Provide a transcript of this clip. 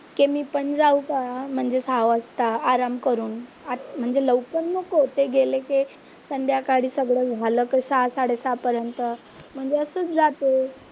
की मी पण जाऊ का? म्हणजे सहा वाजता आराम करून म्हणजे लवकर नको, ते गेले की संध्याकाळी सगळं झालं का सहा साडे सहापर्यंत म्हणजे असंच जाते.